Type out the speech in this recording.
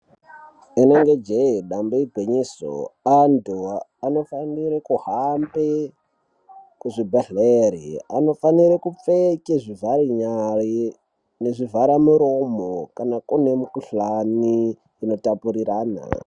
Inenge jee dambe igwinyiso antu anofane kuhambe Kuzvibhedhleri anofanire kupfeke zvivhare nyari nezvivhare miromo kana kune mikhuhlani inotapurirana .